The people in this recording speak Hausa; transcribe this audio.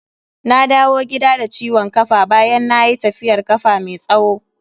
Na dawo gida da ciwon kafa bayan nayi tafiyar kafa mai tsawo.